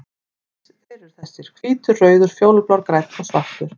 Þeir eru þessir: Hvítur, rauður, fjólublár, grænn og svartur.